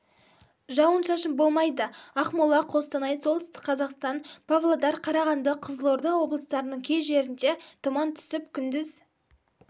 жауын-шашын болмайды ақмола қостанай солтүстік қазақстан павлодар қарағанды қызылорда облыстарының кей жерінде тұман түсіп күндіз